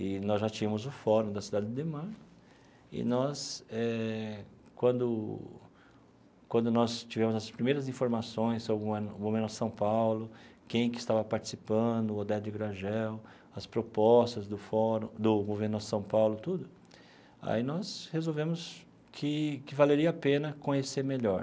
E nós já tínhamos o Fórum da Cidade Ademar, e nós eh, quando quando nós tivemos as primeiras informações sobre o São Paulo, quem que estava participando, o, as propostas do Fórum, do Movimento Nossa São Paulo, tudo, aí nós resolvemos que que valeria a pena conhecer melhor.